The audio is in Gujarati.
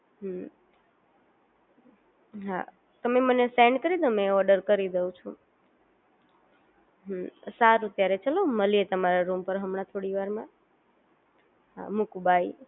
હમ્મ હા તમે મને સેન્ડ કરી દો મેં ઓર્ડર દઉં છું. સારું ત્યારે ચાલો મલીએ તમારા રુમ પર હમણાં થોડી વારમાં હા મૂકું બાય